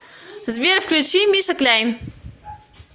сбер включи миша кляйн